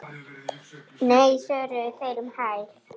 Nei svöruðu þeir um hæl.